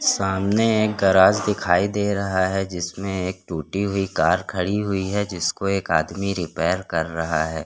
सामने एक गराज दिखाई दे रहा है जिसमें एक टूटी हुई कार खड़ी हुई है जिसको एक आदमी रिपेर कर रहा हैं।